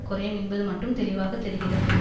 குறையும் என்பது மட்டும் தெளிவாக தெரிகிறது